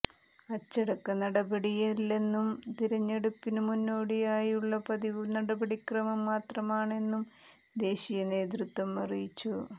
അച്ചടക്ക നടപടിയല്ലെന്നും തിരഞ്ഞെടുപ്പിനു മുന്നോടിയായുള്ള പതിവു നടപടിക്രമം മാത്രമാണെന്നും ദേശീയ നേതൃത്വം അറിയിച്ചു